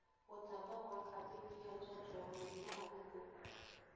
Gũtamba gwa kambĩini ya njajo ya mũrimũ wa gĩthũkũ